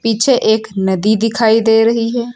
पीछे एक नदी दिखाई दे रही है।